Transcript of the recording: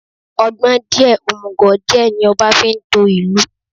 Ọgbọ́n díẹ̀, òmùgò díẹ̀, ní ọba fi ń to ìlú.